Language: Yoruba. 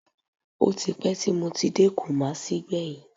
Ó ti pẹ́ tí mo ti dé Kùmásí gbẹ̀yìn